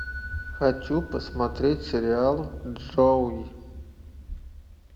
хочу посмотреть сериал джоуи